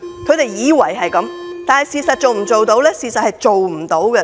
他們以為會這樣，但事實上能否做到呢？